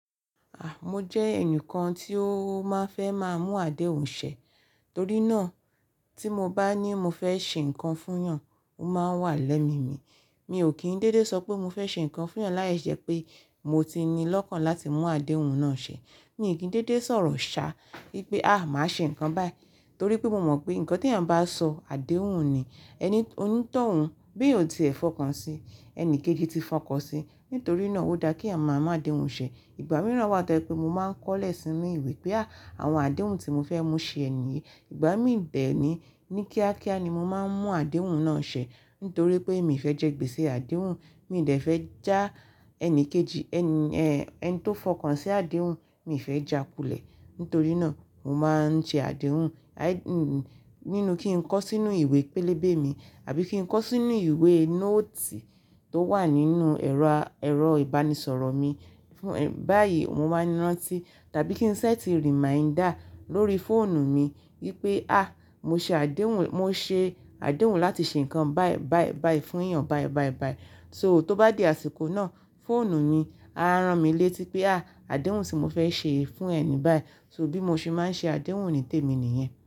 Mo jẹ́ ẹnìkan tí ó máa n fẹ́ máa mú àdéhùn ṣẹ̀, torí náà tí mo bá ní mo fẹ́ ṣe nǹkan fúnyan, ó máa n wà lẹ́mi mi. Mi ò kí n dédé sọ pé mo fẹ́ ṣe nǹkan fúnyan láìṣẹ́ pé mo ti ní lọ́kàn láti mú àdéhùn náà ṣẹ̀. Mi n kí ń dédé sọ̀rọ̀ ṣá wípé, "a! Màá ṣe nǹkan báyìí." Torí pé mo mọ̀ pé nǹkan tí èèyàn bá sọ àdéhùn ni, ẹni o ni tọ́ òun bí eyan ò ti ẹ̀ fọkàn sí, ẹni kejì ti fọkàn sí. Nítorí náà ó dá kí eeyan màá mú àdéhùn ṣẹ̀. Ìgbà mìíràn wá tó e pé mo máa ń kọ́lẹ̀ sínú ìwé pé àwọn àdéhùn tí mo fẹ́ mú ṣẹ ẹnì yí. Ìgbà mí dẹ̀ ní, ní kíákíá ni mo máa ń mú àdéhùn náà ṣẹ̀. Nítorí pé mi ò fẹ́ jẹ́ gbèsè àdéhùn, mi ò fẹ́ já ẹni kejì, ẹni, ẹ́ẹ́ ẹni tó fọkàn sí àdéhùn, mi ò fẹ́ jàkulẹ. Nítorí náà mo máa ń ṣe àdéhùn, nínú kí n kọ sínú ìwé pélébé mi àbí kí n kọ sínú ìwé nóòtì tó wà nínú ẹ̀rọ, ẹ̀rọ ìbánisọ̀rọ̀ mi. Báyìí mo máa n rántí tàbí kí ń ṣẹ́ẹ̀tì reminder lórí fóònù mi wípé a mo ṣe àdéhùn, mo ṣe àdéhùn láti ṣe nǹkan báyìí, báyìí, báyìí fún èèyàn báyìí, báyìí, báyìí. So tó bá di àsìkò náà, fóònù ni á rán mi létí pé a àdéhùn tí mo fẹ́ ṣe fún ẹni báyìí. So bí mo ṣe máa ń ṣe àdéhùn onítèmi nìyẹn.